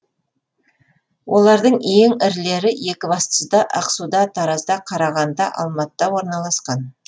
олардың ең ірілері екібастұзда ақсуда таразда қарағандыда алматыда орналасқан